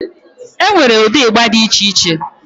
Enwee ụdị ịgba dị iche iche